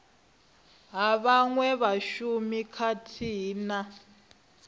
ha vhaṅwe vhashumi khathihi na